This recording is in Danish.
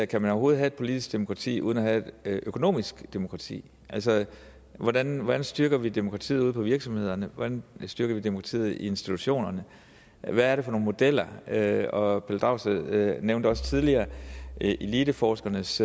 kan have et politisk demokrati uden at have økonomisk demokrati hvordan hvordan styrker vi demokratiet ude på virksomhederne hvordan styrker vi demokratiet i institutionerne hvad er det for nogle modeller herre pelle dragsted nævnte også tidligere eliteforskernes